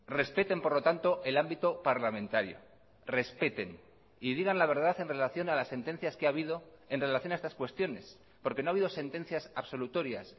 respeten por lo tanto el ámbito parlamentario respeten y digan la verdad en relación a las sentencias que ha habido en relación a estas cuestiones porque no ha habido sentencias absolutorias